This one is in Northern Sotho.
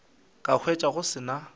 ka hwetša go se na